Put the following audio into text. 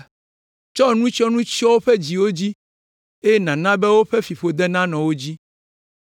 Tsɔ nutsyɔnu tsyɔ woƒe dziwo dzi eye nàna be wò fiƒode nanɔ wo dzi!